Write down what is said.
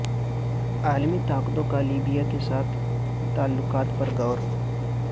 عالمی طاقتوں کا لیبیا کے ساتھ تعلقات پر غور